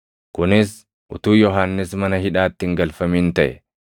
Kunis utuu Yohannis mana hidhaatti hin galfamin taʼe.